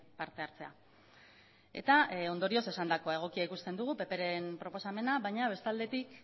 parte hartzea eta ondorioz esandakoa egokia ikusten dugu pp ren proposamena baina bestaldetik